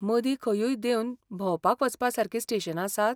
मदीं खंयूय देंवन भोंवपाक वचपासारकी स्टेशनां आसात?